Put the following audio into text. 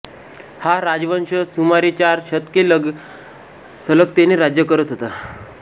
हा राजवंश सुमारेचार शतके सलगतेने राज्य करत होता